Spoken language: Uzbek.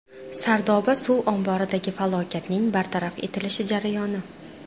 Sardoba suv omboridagi falokatning bartaraf etilish jarayoni.